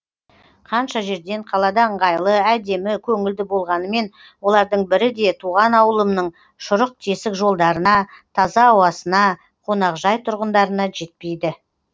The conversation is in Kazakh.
қанша жерден қалада ыңғайлы әдемі көңілді болғанымен олардың бірі де туған ауылымның шұрық тесік жолдарына таза ауасына қоңақжай тұрғындарына жетпейді